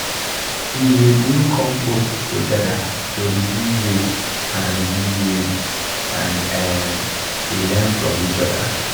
we dey do compost together to reduce waste and reduce waste and um dey learn from each other.